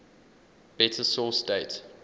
better source date